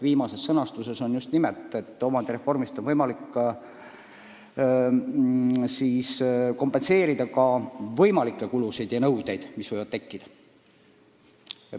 Viimane sõnastus on just nimelt, et omandireformi reservfondist on võimalik täita nõudeid, mis võivad tekkida.